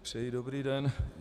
Přeji dobrý den.